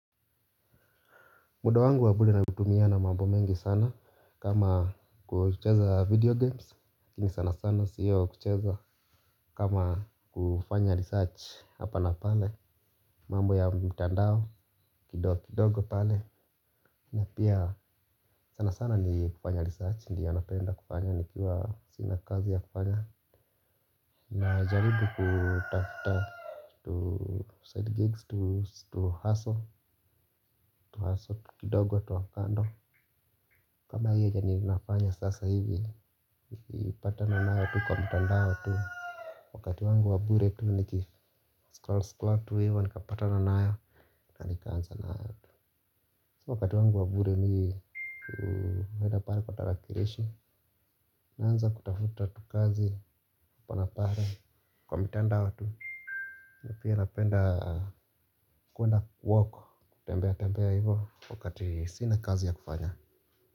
Muda wangu wa bure na utumia na mambo mengi sana kama kucheza video games lakini sana sana siyo kucheza kama kufanya research. Hapa na pale mambo ya mtandao kidogo kidogo pale. Na pia sana sana ni kufanya research ndiyo napenda kufanya nikiwa sina kazi ya kufanya. Na jaribu kutafta tu side gigs tu hustle. Tu hustle tu kidogo tu wakando. Kama hiyo janinafanya sasa hivi, ipata na naya tu kwa mtandao tu. Wakati wangu wa bure tu nikifu, skol skol tu hivo, nikapata na naya, nikaanza na naya tu. Wakati wangu wa bure mimi huenda pale kwa tarakilishi. Naanza kutafuta tu kazi upana pare kwa mtandao tu. Nipi anapenda kuenda walk, kutembea tembea hivo, wakati sina kazi ya kufanya.